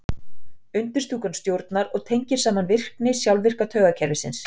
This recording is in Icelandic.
undirstúkan stjórnar og tengir saman virkni sjálfvirka taugakerfisins